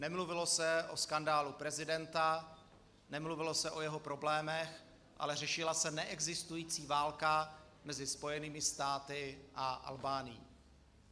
Nemluvilo se o skandálu prezidenta, nemluvilo se o jeho problémech, ale řešila se neexistující válka mezi Spojenými státy a Albánií.